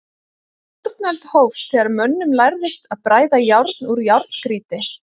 Járnöld hófst þegar mönnum lærðist að bræða járn úr járngrýti.